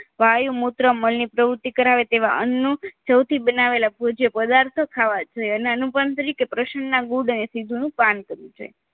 વાયુ મૂત્ર મળની પ્રવૃત્તિ કરાવે તેવા અન્નનું સૌથી બનાવેલા ભોજ્ય પદાર્થો ખાવા જોઈએ અને અનુપણત્રિ કે પ્રસના ગુડ નું પાન કરવું જોઈએ